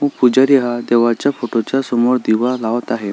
पुजारी हा देवाच्या फोटो समोर दिवा लावत आहे.